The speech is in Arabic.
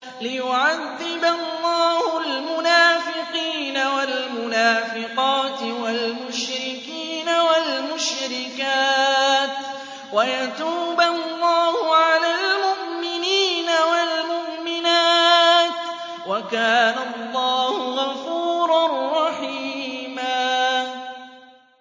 لِّيُعَذِّبَ اللَّهُ الْمُنَافِقِينَ وَالْمُنَافِقَاتِ وَالْمُشْرِكِينَ وَالْمُشْرِكَاتِ وَيَتُوبَ اللَّهُ عَلَى الْمُؤْمِنِينَ وَالْمُؤْمِنَاتِ ۗ وَكَانَ اللَّهُ غَفُورًا رَّحِيمًا